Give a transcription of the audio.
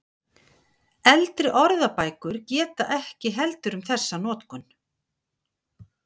Eldri orðabækur geta ekki heldur um þessa notkun.